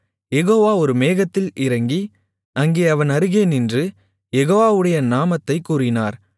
யெகோவா ஒரு மேகத்தில் இறங்கி அங்கே அவன் அருகே நின்று யெகோவாவுடைய நாமத்தைக் கூறினார்